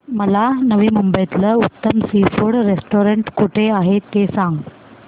मला नवी मुंबईतलं उत्तम सी फूड रेस्टोरंट कुठे आहे ते सांग